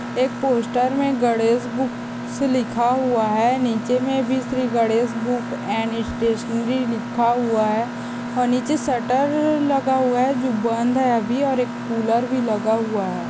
एक पोस्टर मे गणेश बुक्स लिखा हुआ है नीचे मे भी Shri Ganesh book and stationery लिखा हुआ है ओ नीचे शटर लगा हुआ है जो बंद है आबी और एक कूलर भी लगा हुआ है।